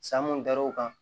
San mun dar'o kan